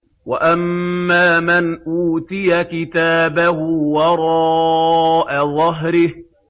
وَأَمَّا مَنْ أُوتِيَ كِتَابَهُ وَرَاءَ ظَهْرِهِ